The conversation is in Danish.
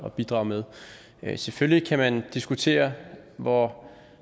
at bidrage med selvfølgelig kan man diskutere hvor